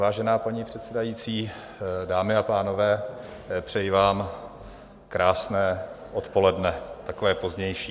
Vážená paní předsedající, dámy a pánové, přeji vám krásné odpoledne, takové pozdější.